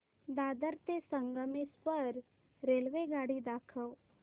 दादर ते संगमेश्वर रेल्वेगाडी दाखव